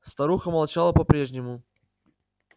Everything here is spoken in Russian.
старуха молчала по-прежнему